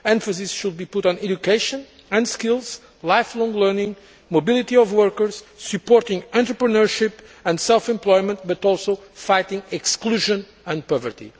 Emphasis should be put on education and skills, lifelong learning, mobility of workers, supporting entrepreneurship and self employment, but also on fighting exclusion and poverty.